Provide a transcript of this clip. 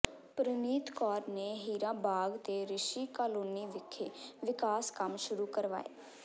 ਪ੍ਰਨੀਤ ਕੌਰ ਨੇ ਹੀਰਾ ਬਾਗ ਤੇ ਰਿਸ਼ੀ ਕਾਲੋਨੀ ਵਿਖੇ ਵਿਕਾਸ ਕੰਮ ਸ਼ੁਰੂ ਕਰਵਾਏ